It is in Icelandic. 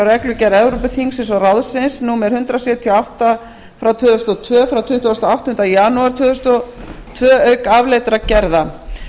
reglugerð evrópuþingsins og ráðsins í sé númer hundrað sjötíu og átta tvö þúsund og tvö frá tuttugasta og áttundi janúar tvö þúsund og tvö auk afleiddra gerða